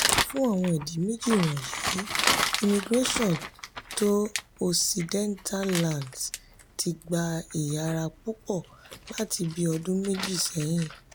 fún àwọn ìdí méjì wọ̀nyí immigration to occidental lands ti gba ìyára púpọ̀ láti bí ọdún méjì sẹ́yìn.